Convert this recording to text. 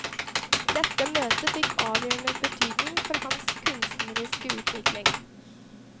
Dette møtet fikk avgjørende betydning for hans kunstneriske utvikling.